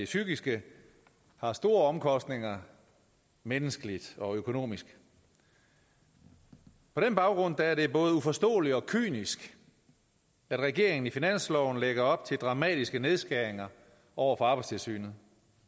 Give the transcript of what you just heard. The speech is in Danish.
psykiske har store omkostninger menneskeligt og økonomisk på den baggrund er det både uforståeligt og kynisk at regeringen i finansloven lægger op til dramatiske nedskæringer over for arbejdstilsynet